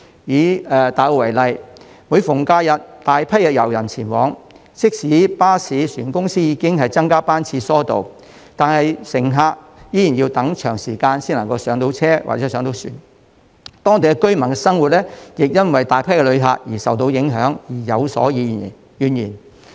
以大澳為例，每逢假日便有大批遊人前往該處，即使巴士、船公司已增加班次疏導，乘客依然要等候一段長時間才能上車或上船，當地居民的生活因為大批旅客到訪而受影響，他們亦對此有所怨言。